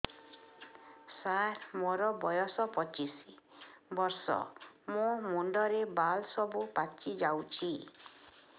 ସାର ମୋର ବୟସ ପଚିଶି ବର୍ଷ ମୋ ମୁଣ୍ଡରେ ବାଳ ସବୁ ପାଚି ଯାଉଛି